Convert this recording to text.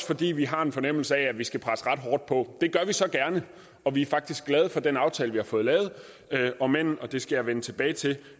fordi vi har en fornemmelse af at vi skal presse ret hårdt på det gør vi så gerne og vi er faktisk glade for den aftale vi har fået lavet om end og det skal jeg vende tilbage til